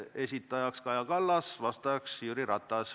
Esitajaks on Kaja Kallas, vastajaks Jüri Ratas.